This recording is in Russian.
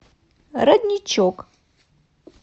родничок